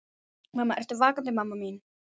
Mamma, ertu vakandi mamma mín?